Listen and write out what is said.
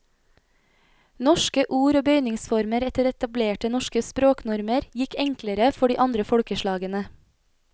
Norske ord og bøyningsformer etter etablerte norske språknormer gikk enklere for de andre folkeslagene.